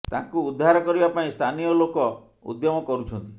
ତାଙ୍କୁ ଉଦ୍ଧାର କରିବା ପାଇଁ ସ୍ଥାନୀୟ ଲୋକ ଉଦ୍ୟମ କରୁଛନ୍ତି